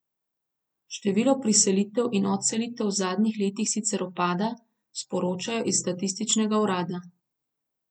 Število priselitev in odselitev v zadnjih letih sicer upada, sporočajo iz statističnega urada.